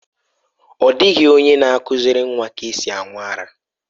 Ọ dịghị onye na-akụziri nwa ka esi aṅụ ara.